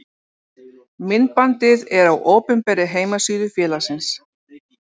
Myndbandið er á opinberri heimasíðu félagsins.